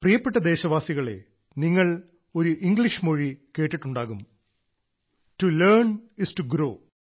പ്രിയപ്പെട്ട ദേശവാസികളെ നിങ്ങൾ ഇംഗ്ലീഷ് മൊഴി കേട്ടിട്ടുണ്ടാകും to learn is to grow